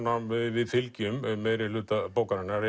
við fylgjum meirihluta bókarinnar